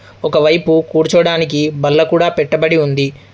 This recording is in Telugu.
ఒకవైపు కూర్చోడానికి బల్ల కూడా పెట్టబడి ఉంది.